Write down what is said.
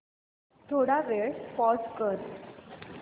थोडा वेळ पॉझ कर